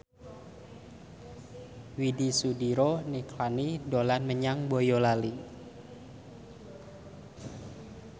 Widy Soediro Nichlany dolan menyang Boyolali